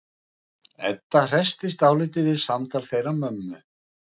Edda hressist dálítið við samtal þeirra mömmu.